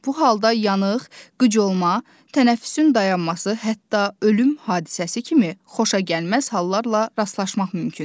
Bu halda yanıq, qıc olma, tənəffüsün dayanması, hətta ölüm hadisəsi kimi xoşagəlməz hallarla rastlaşmaq mümkündür.